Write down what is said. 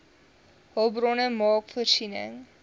hulpbronne maak voorsiening